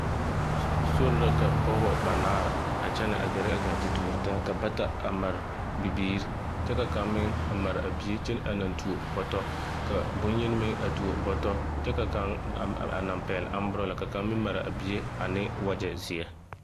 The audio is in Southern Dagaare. Sori la ka pɔgbɔ banaare a kyɛnɛ a gɛrɛ a gaa te tuori taa ka bata a mare bibiiri kyɛ ka kaŋ meŋ a mare a bie kyɛ naŋ tuo bɔtɔ ka bonyeni meŋ a tuo bɔtɔ kyɛ ka kaŋ a naŋ pɛɛl aŋburala kyɛ ka kaŋ mare a bie ane wagyɛ zeɛ.